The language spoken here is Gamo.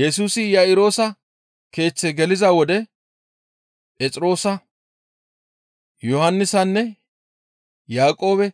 Yesusi Iya7iroosa keeththe geliza wode Phexroosa, Yohannisanne Yaaqoobe